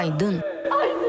Aydın!